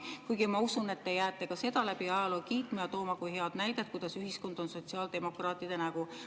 Kuigi ma usun, et te jääte ka seda läbi ajaloo kiitma ja tooma kui head näidet, kuidas ühiskond on sotsiaaldemokraatide nägu.